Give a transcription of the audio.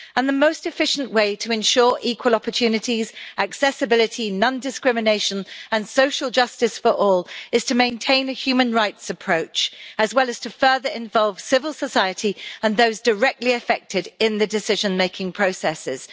The most efficient way to ensure equal opportunities, accessibility, non discrimination and social justice for all is to maintain a human rights approach, as well as to further involve civil society and those directly affected in the decision-making processes.